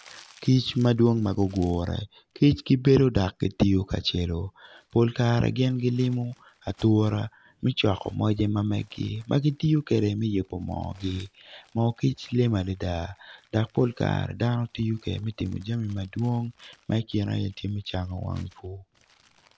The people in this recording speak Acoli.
Kic madwong ma gugure kic gibedo dok gitiyo kacelo pol kare gin gilimo atura me coko mocce ma meggi ma gitiyo kwede me yubo moogi moo kic lim adada dok pol kare dan tiyo kwede me timo jami ma dwong ma i kine iye tye me cango wang bur.